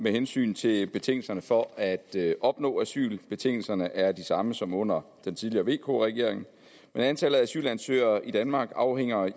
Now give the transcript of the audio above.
med hensyn til betingelserne for at opnå asyl betingelserne er de samme som under den tidligere vk regering men antallet af asylansøgere i danmark afhænger